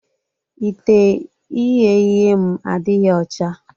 Ite ighe ihe m adịghị ọcha.